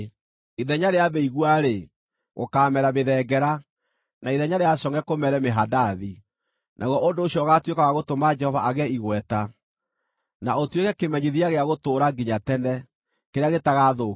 Ithenya rĩa mĩigua-rĩ, gũkaamera mĩthengera, na ithenya rĩa congʼe kũmere mĩhandathi. Naguo ũndũ ũcio ũgaatuĩka wa gũtũma Jehova agĩe igweta, na ũtuĩke kĩmenyithia gĩa gũtũũra nginya tene, kĩrĩa gĩtagathũkio.”